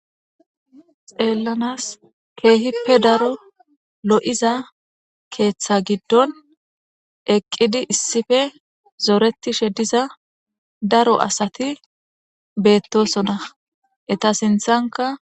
xeellanas keehippe daro lo7iza keeththa giddon eqqidi issife zoretishe diza daro asati beettosona eta sinthanka